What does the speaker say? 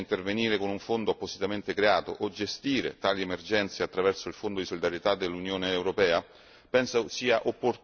Possiamo sperare che si possa intervenire con un fondo appositamente creato o gestire tali emergenze attraverso il Fondo di solidarietà dell'Unione europea?